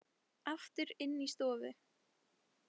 Aftur inn í stofu.